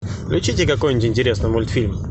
включите какой нибудь интересный мультфильм